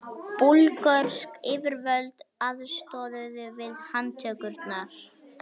Búlgörsk yfirvöld aðstoðuðu við handtökurnar